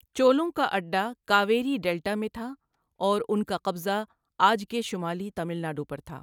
چولوں کا اڈہ کاویری ڈیلٹا میں تھا اور ان کا قبضہ آج کے شمالی تامل ناڈو پرتھا۔